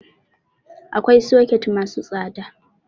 Akwai soket masu tsada